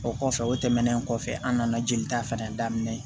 O kɔfɛ o tɛmɛnen kɔfɛ an nana jelita fɛnɛ daminɛ